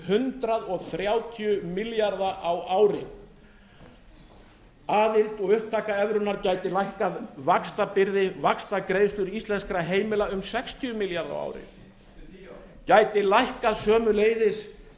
hundrað þrjátíu milljarða á ári aðild og upptaka evrunnar gæti lækkað vaxtabyrði vaxtagreiðslur íslenskra heimila um sextíu milljarða á ári eftir tíu ár gæti lækkað sömuleiðis